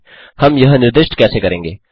हम यह निर्दिष्ट कैसे करेंगे